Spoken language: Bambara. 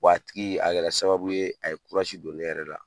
a tigi a kɛra sababu ye, a ye don ne yɛrɛ la.